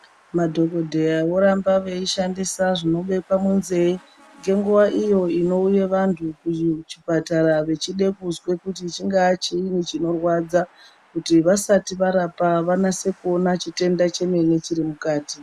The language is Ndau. Madhokodheya voramba veyishandisa zvinobekwa munzee ngenguwa iyo inouye vantu kuchipatara vechide kuzwe kuti chingaa chii chinorwadza kuti vasati varapa vanase kuona chitenda chemene chiri mukati.